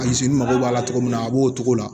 mago b'a la cogo min na a b'o cogo la